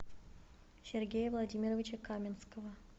сергея владимировича каминского